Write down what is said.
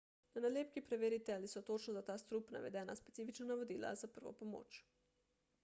na nalepki preverite ali so točno za ta strup navedena specifična navodila za prvo pomoč